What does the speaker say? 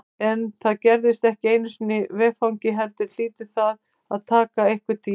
En það gerist ekki í einu vetfangi heldur hlýtur það að taka einhvern tíma.